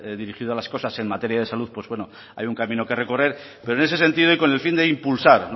dirigida a las cosas en materia de salud pues bueno hay un camino que recorrer pero en ese sentido y con el fin de impulsar